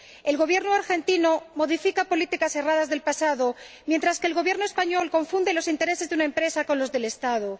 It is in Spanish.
El Gobierno argentino modifica políticas erradas del pasado, mientras que el Gobierno español confunde los intereses de una empresa con los del Estado.